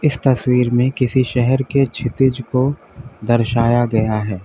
तस्वीर में किसी शहर के क्षितिज को दर्शाया गया है।